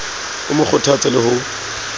o mo kgothatse le ho